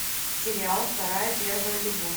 сериал вторая первая любовь